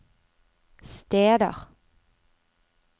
steder